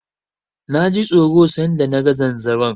Na ji tsoro san da na ga zanzaron.